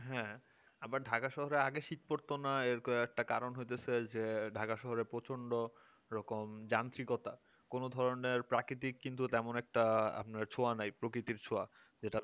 হ্যাঁ আবার Dhaka শহরে শীত পড়তো না এইরকম একটা কারণ হচ্ছে হইতে যে Dhaka শহরে রকম তান্ত্রিকতা কোন ধরনের প্রাকৃতিক কিন্তু তেমন একটা আপনার ছোঁয়া নাই প্রকৃতির ছোঁয়া যেটা